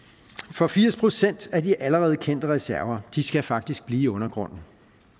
for firs procent af de allerede kendte reserver skal faktisk blive i undergrunden